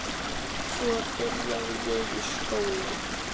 Svo byrjaði ég í skóla.